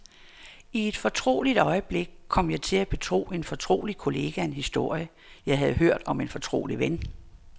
I et fortroligt øjeblik kom jeg til at betro en fortrolig kollega en historie, jeg havde hørt om en fortrolig ven.